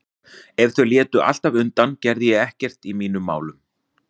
Ef þau létu alltaf undan gerði ég ekkert í mínum málum.